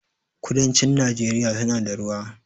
kudancin nageria suna da ruwa